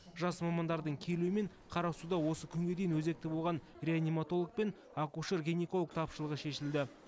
жас мамандардың келуімен қарасуда осы күнге дейін өзекті болған реаниматолог пен акушер гинеколог тапшылығы шешілді